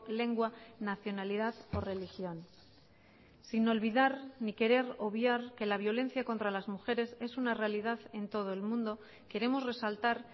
lengua nacionalidad o religión sin olvidar ni querer obviar que la violencia contra las mujeres es una realidad en todo el mundo queremos resaltar